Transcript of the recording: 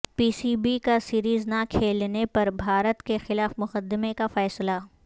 پی C B کا series نہ کھیلنے پر بھارت کیخلاف مقدمے کا فیصلہ